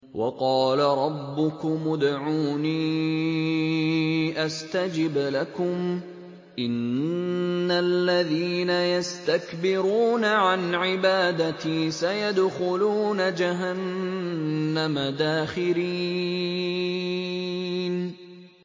وَقَالَ رَبُّكُمُ ادْعُونِي أَسْتَجِبْ لَكُمْ ۚ إِنَّ الَّذِينَ يَسْتَكْبِرُونَ عَنْ عِبَادَتِي سَيَدْخُلُونَ جَهَنَّمَ دَاخِرِينَ